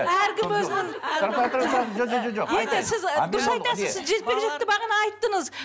әркім өзінің енді сіз дұрыс айтасыз жекпе жекті бағана айттыңыз